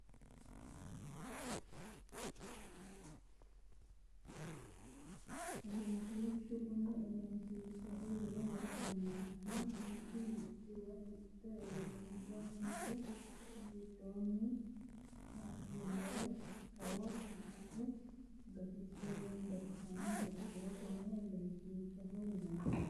Egenshiishsha kuni egenshiishshaho yine woshshineemmohu mittu manchi woyi mitte uurrinsha umise giddoonni hasidhinore xawo fushshite gantannoha ikkiro konne egenshiishshaho yinanni